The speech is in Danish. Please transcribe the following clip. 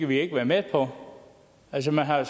vi ikke være med på altså man har